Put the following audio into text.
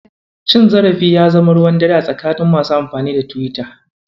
Cin zarafi ya zama ruwan dare a tsakanin masu amfani da Tiwita.